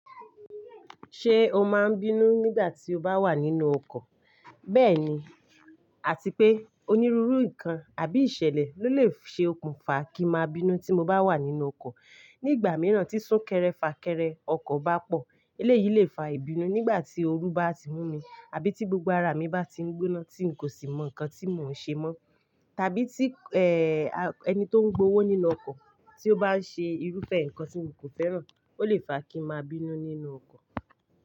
Ṣé o máa n bínú nígbà tí o bá wà nínú ọkọ̀? Bẹ́ẹ̀ni, àti pé onírúurú nǹkan àbí ìṣẹ̀lẹ̀ ló lè ṣe okùnfà kí n máa bínú tí mo bá wà nínú ọkọ̀. Nígbà mìíràn tí súnkẹrẹ fàkẹrẹ ọkọ̀ bá pọ̀, eléyìí lè fa ìbínú nígbà tí ooru bá ti mú mi, àbí tí gbogbo ara mi bá ti ń gbóná tí n kò sì mọ nǹkan tí mò ń ṣe mọ́. Tàbí tí, ẹ́, ẹni tó ń gbowó nínú ọkọ̀ tí ó bá ń ṣe irúfẹ́ nǹkan tí mi kò fẹ́ràn, ó lè fa kí n máa bínú nínú ọkọ̀.